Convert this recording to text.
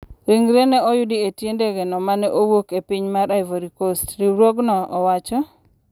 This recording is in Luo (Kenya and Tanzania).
Ringre no noyudi e tie ndege no mane owuok e piny mar Ivory Coast, riwruogno owacho.